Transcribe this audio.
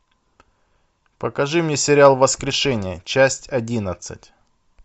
покажи мне сериал воскрешение часть одиннадцать